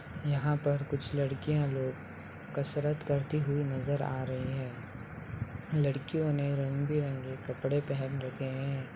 यहाँ पर कुछ लड़कियां लोग कसरत करती हुई नज़र आ रही है लड़कियों ने रंग-बिरंगी कपड़े पहन रखे हैं।